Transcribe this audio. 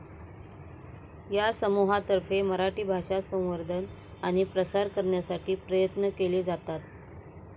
या समूहातर्फे मराठी भाषा संवर्धन आणि प्रसार करण्यसाठी प्रयत्न केले जातात.